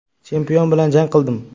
Chempion bilan jang qildim.